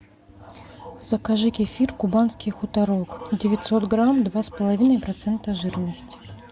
закажи кефир кубанский хуторок девятьсот грамм два с половиной процента жирности